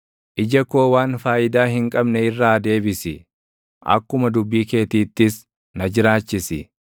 Ija koo waan faayidaa hin qabne irraa deebisi; akkuma dubbii keetiittis na jiraachisi.